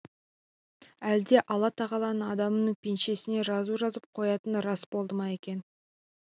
әлде алла тағаланың адамның пешенесіне жазу жазып қоятыны рас болды ма екен